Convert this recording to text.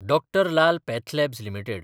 Dr Lal pathlabs limited